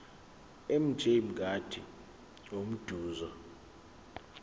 mj mngadi umbuzo